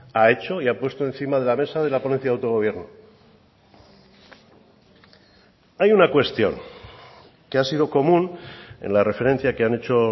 ha hecho y ha puesto encima de la mesa de la ponencia de autogobierno hay una cuestión que ha sido común en la referencia que han hecho